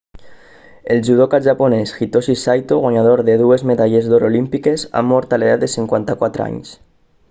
el judoka japonès hitoshi saito guanyador de dues medalles d'or olímpiques ha mort a l'edat de 54 anys